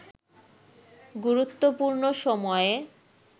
গুরুত্বপূর্ণ সময়ে